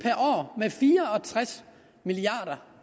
med fire og tres milliard